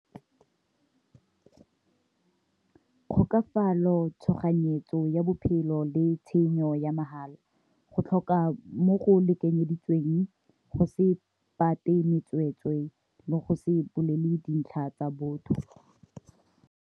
Kgokafalo, tshoganyetso ya bophelo le tshenyo ya mahala, go tlhoka mo go lekanyeditsweng go se tsweetswee le go se bolelele dintlha tsa botho.